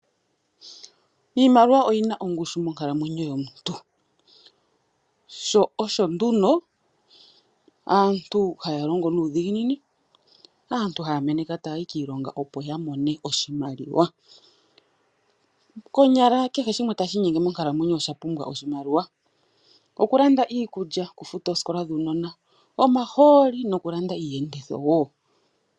Iimaliwa oyina ongushu monkalamwenyo yomuntu, sho osho nduno aantu haya longo nuudhiginini, aantu haya meneka tayayi kiilonga opo yamone oshimaliwa. Konyala keh shimwe tashi inyenge monkalamwenyo osha pumbwa oshimaliwa, okulanda iikulya, okufuta oosikola dhuunona, omahooli, nokulanda iiyenditho wo.